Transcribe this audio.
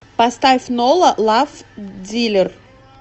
поставь нола лав дилер